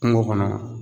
Kungo kɔnɔ